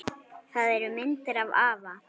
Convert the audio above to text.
Það eru myndir af afa